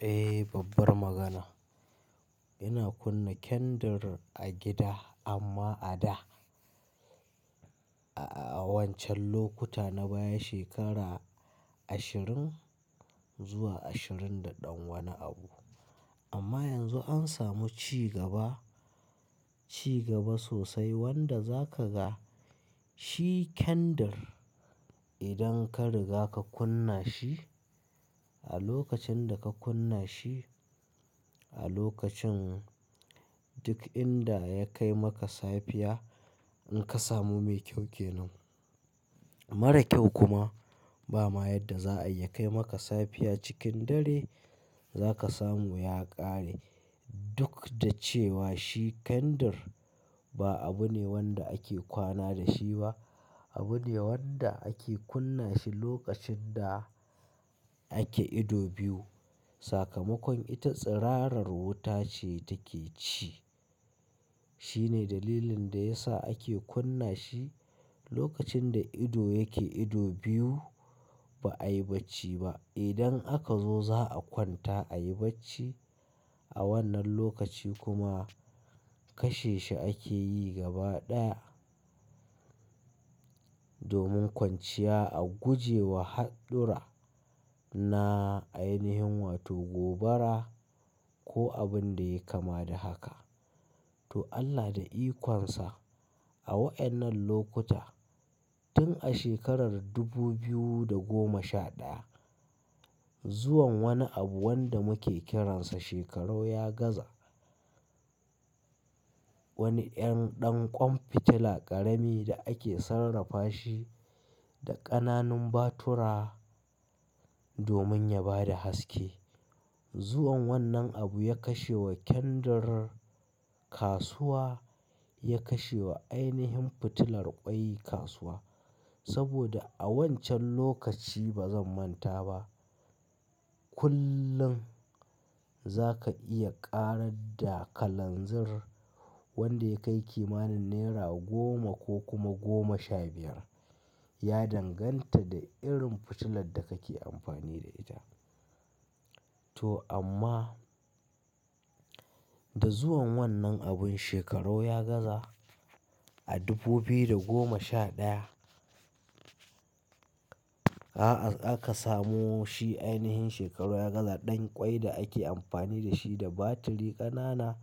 Eh, babbar magana. Ina kunna kendir a gida amma a da, a wancan lokuta na baya shekara ashirin zuwa ashirin da ɗan wani abu. Amma yanzu an samu ci gaba, ci gaba sosai wanda za ka ga shi kendir idan ka riga ka kunna shi. A lokacin da ka kunna shi a lokacin duk inda ya kai maka safiya in ka samu mai kyau kenan. Mara kyau kuma ba ma yan da za'ayi ya kai maka safiya cikin dare za ka samu ya ƙare. Duk da cewa shi kendir ba abu ne wan da ake kwana dashi ba. Abu ne wan da ake kunna shi lokacin da ake ido biyu saka makon ita tsirarar wuta ce take ci shine dalilin da yasa ake kunna shi lokacin da ido yake ido biyu ba'ai bacci ba. Idan aka zo za'a kwanta ayi bacci. A wannan lokaci kuma kashe shi ake yi gaba ɗaya. Domin kwanciya a guje wa haɗura na ainihin wato gobara ko abun da ya yi kama da haka. To Allah da ikon sa a wa'en nan lokuta tun a shekarar dubu biyu da goma sha ɗaya. Zuwan wani abu wanda muke kiransa shekaru ya gaza. Wani 'yan ɗan ƙwan fitila ƙaramibda ake sarrafa shi da ƙana nun batira. Domin ya bada haske. Zuwan wannan abu ya kashe wa kendir kasuwa, ya kashe wa ainihin fitilar ƙwai kasuwa. Saboda a wancan lokaci ba zan manta ba, kullum za ka iya ƙarar da kalanzir wanda ya kai kima nin naira goma ko kuma goma sha biya. Ya danganta da irin fitilar da kake amfani da ita. To amma da zuwan wannan abun shekarau ya gaza a dubu biyu da goma sha ɗaya aka samo shi ainihin shekarau ya gaza ɗan ƙwai da ake amfani dashi da battery ƙana na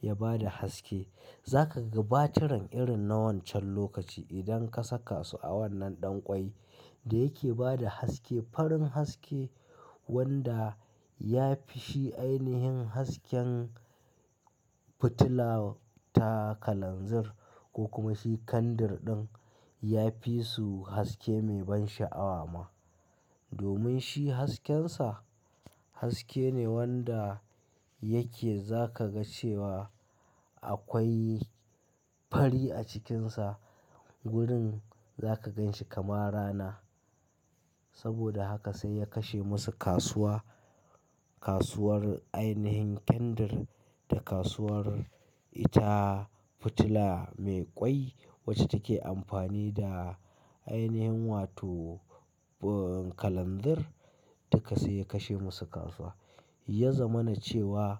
ya bada haske. Za ka ga batiran irin na wancan lokaci idan ka saka su a wannan ɗan ƙwai da yake bada haske. Farin haske wanda ya fi shi ainihin hasken fitila ta kalanzir ko kuma shi kandir ɗin ya fi su haske mai ban sha'awa ma. Domin shi hasken sa haske ne wanda yake za ka ga cewa akwai fari a cikin sa. Gurin za ka gan shi kamar rana. Saboda haka sai ya kashe masu kasuwa. Kasuwar ainihin kendir da kasuwar ita fitila mai ƙwai wacce take amfani da ainihin wato kalanzir. Duka sai ya kashe masu kasuwa. Ya zama na cewa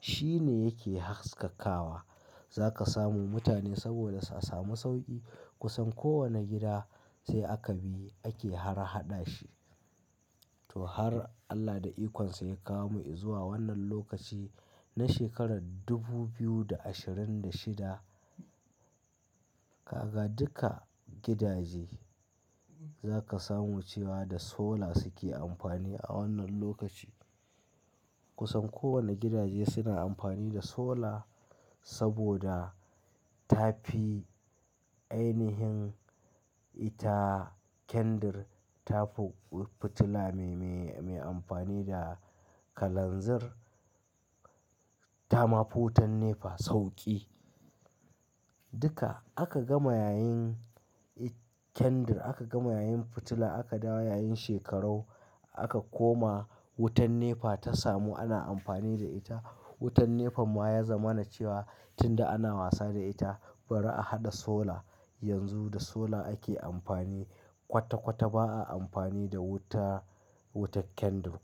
shine yake haskakawa. Za ka samu mutane saboda sa samu sauƙi kusan kowane gida sai aka bi ake har haɗa shi. To har Allah da ikonsa ya kawo mu izuwa wannan lokaci na shekarar dubu biyu da ashirin da shida. Kaga duka gidaje za ka samu cewa da sola suke amfani a wannan lokaci. Kusan kowane gidaje suna amfani da sola saboda ta fi ainihin ita kendir, ta fi fitila mai, mai, mai amfani da kalanzir. Ta ma fi qutan nefa sauƙi. Duka aka gama yayin kendir aka gama yayin fitila aka dawo yayin shekaru aka koma wutan nefa ta samu ana amfani da ita. Wutan nefam ma ya zama na cewa tunda ana wasa da ita bari a haɗa sola. Yanzu da sola ake amfani kwata-kwata ba a amfani da wuta, wutar kendir.